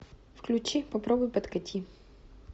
включи попробуй подкати